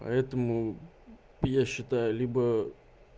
поэтому я считаю либо